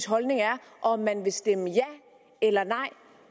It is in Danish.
holdning er og om man vil stemme ja eller nej